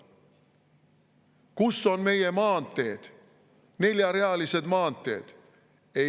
Kus on meie maanteed, neljarealised maanteed?